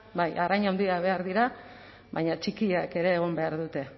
bai arrain handiak behar dira baina txikiak ere egon behar dute